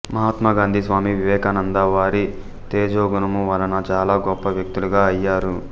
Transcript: మహాత్మా గాంధీ స్వామి వివేకానంద వారి తేజోగుణము వలన చాలా గొప్పవ్యక్తులుగా అయ్యారు